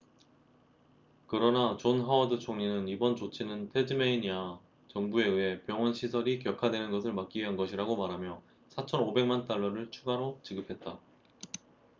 그러나 존 하워드 총리는 이번 조치는 태즈메이니아 정부에 의해 병원 시설이 격하되는 것을 막기 위한 것이라고 말하며 4,500만 달러를 추가로 지급했다